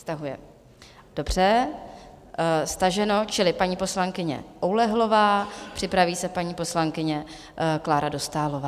Stahuje, dobře, staženo, čili paní poslankyně Oulehlová, připraví se paní poslankyně Klára Dostálová.